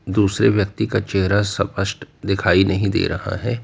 दूसरे व्यक्ति का चेहरा स्पष्ट दिखाई नहीं दे रहा है।